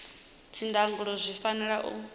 idzi ndangulo zwi fanela u